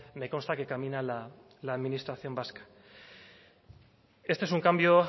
me consta que camina la administración vasca este es un cambio